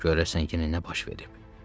Görəsən, yenə nə baş verib?